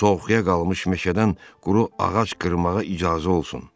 Soyuqya qalmış meşədən quru ağac qırmağa icazə olsun.